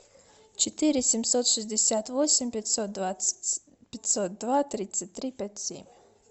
четыре семьсот шестьдесят восемь пятьсот двадцать пятьсот два тридцать три пять семь